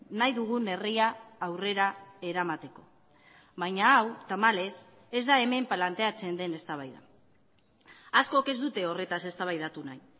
nahi dugun herria aurrera eramateko baina hau tamalez ez da hemen planteatzen den eztabaida askok ez dute horretaz eztabaidatu nahi